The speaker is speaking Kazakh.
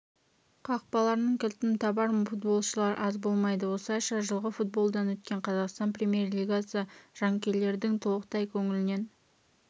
қақпаларының кілтін табар футболшылар аз болмайды осылайша жылғы футболдан өткен қазақстан премьер-лигасы жанкүйерлердің толықтай көңілінен